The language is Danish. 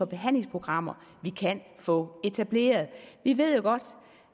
behandlingsprogrammer vi kan få etableret vi ved jo godt